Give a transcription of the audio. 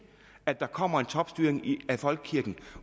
at der kommer en topstyring af folkekirken